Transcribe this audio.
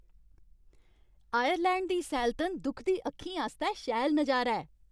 Ireland दी सैलतन दुखदी अक्खीं आस्तै शैल नजारा ऐ।